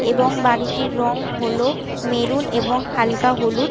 এবং বাড়িটির রং হলো মেরুন এবং হালকা হলুদ ।